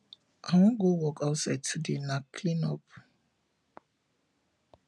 i wan go work for outside today na clean up